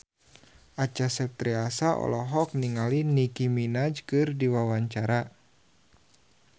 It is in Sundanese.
Acha Septriasa olohok ningali Nicky Minaj keur diwawancara